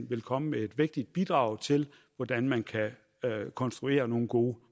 vil komme med et vægtigt bidrag til hvordan man kan konstruere nogle gode